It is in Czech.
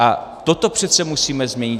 A toto přece musíme změnit!